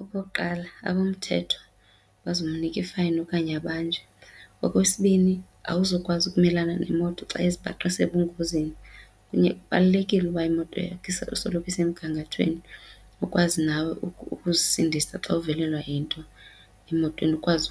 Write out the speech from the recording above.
Okokuqala, abomthetho bazomnika i-fine okanye abanjwe. Okwesibini, awuzukwazi ukumelana neemoto xa uzibhaqa isengozini. Kubalulekile ukuba imoto yakho isoloko isemgangathweni ukwazi nawe ukuzisindisa xa uvelelwe yinto emotweni ukwazi